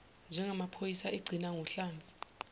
ngeyamaphoyisa igcina ngohlamvu